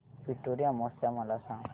पिठोरी अमावस्या मला सांग